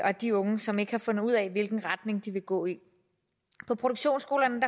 og de unge som ikke har fundet ud af hvilken retning de vil gå i på produktionsskolerne